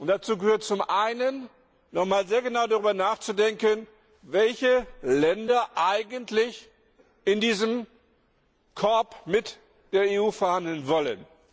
Dazu gehört zum Einen, noch einmal sehr genau darüber nachzudenken, welche Länder eigentlich in diesem Korb mit der EU verhandeln wollen.